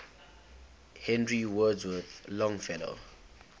henry wadsworth longfellow